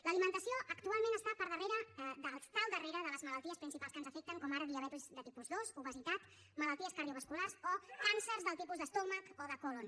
l’alimentació actualment està al darrere de les malalties principals que ens afecten com ara diabetis de tipus dos obesitat malalties cardiovasculars o càncers dels tipus d’estómac o de còlon